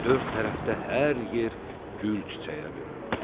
Dörd tərəfdə hər yer gül çiçəyə büründü.